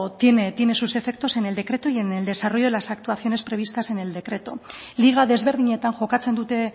tiene sus efectos en el decreto y en el desarrollo de las actuaciones previstas en el decreto liga ezberdinetan jokatzen dute